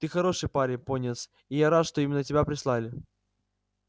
ты хороший парень пониетс и я рад что именно тебя прислали